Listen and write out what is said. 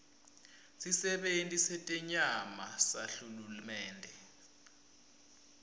sisebenti setenyama sahulumende